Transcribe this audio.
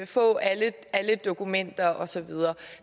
få alle dokumenter osv